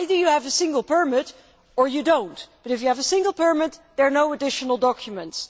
either you have a single permit or you do not but, if you have a single permit, there are no additional documents.